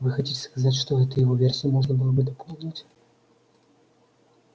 вы хотите сказать что эту его версию можно было бы дополнить